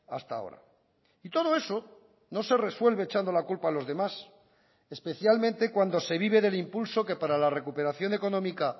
hasta ahora y todo eso no se resuelve echando la culpa a los demás especialmente cuando se vive del impulso que para la recuperación económica